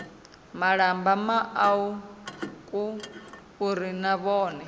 malamba mauku uri na vhone